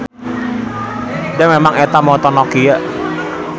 Da memang eta moto Nokia.